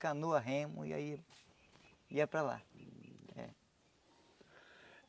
Canoa, remo e aí ia para lá eh.